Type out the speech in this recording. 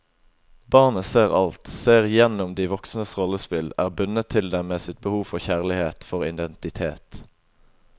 Barnet ser alt, ser igjennom de voksnes rollespill, er bundet til dem med sitt behov for kjærlighet, for identitet.